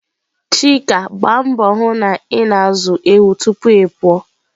Chika Gbaa mbọ hụ na ị na-azụ ewu tupu ịpụ.